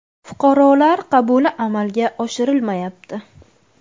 Fuqarolar qabuli amalga oshirilmayapti.